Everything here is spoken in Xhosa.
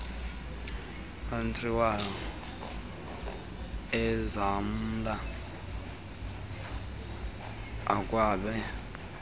andrew ezamla akwabe